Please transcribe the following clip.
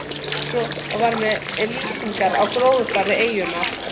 Eins var með lýsingarnar á gróðurfari eyjarinnar.